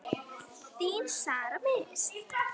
Þín Sara Mist.